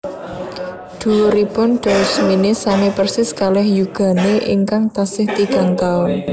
Dhuwuripun Daus Mini sami persis kalih yugane ingkang tasih tigang taun